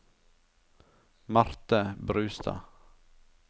Marte Brustad